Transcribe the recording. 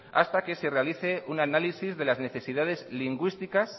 hasta que se realice un análisis de las necesidades lingüísticas